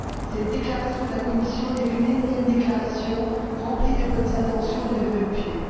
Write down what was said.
Cette déclaration de la Commission n'est qu'une énième déclaration remplie de bonnes intentions et de vœux pieux.